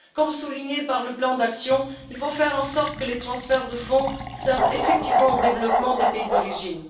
Comme souligné dans le plan d'action, il faut faire en sorte que les transferts de fonds servent effectivement au développement des pays d'origine.